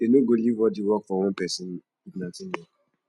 dey no go leave all di work for one pesin if na teamwork